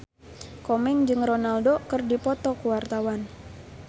Komeng jeung Ronaldo keur dipoto ku wartawan